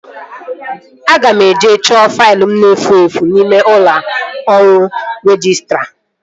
Aga m eje chọọ faịlụ m na-efu efu n'ime ụlọ ọrụ rejistra